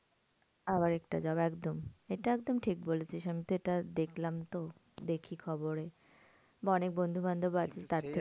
আবার একটা job একদম এটা একদম ঠিক বলেছিস। আমি তো এটা দেখলাম তো দেখি খবরে বা অনেক বন্ধুবান্ধব আছে তার থেকে